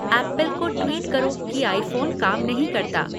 Apple को tweet करो की आईफ़ोन काम नहीं करता।